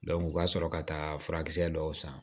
u ka sɔrɔ ka taa furakisɛ dɔw san